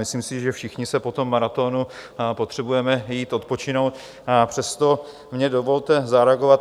Myslím si, že všichni si po tom maratonu potřebujeme jít odpočinout, přesto mně dovolte zareagovat.